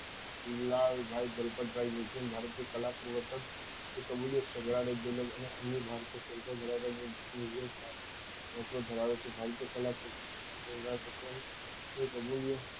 લાલ ભાઈ દલપત ભાઈ વીરચંદ ભારતીય કલા કર્વૃતક એ તો વિદેશ સંગ્રાલય અને અન્ય ભારતીય સંસ્થા ધરાવતા લોકો ધરાવે છે પર્યટકો ને